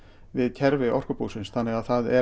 við kerfi orkubúsins þannig að það er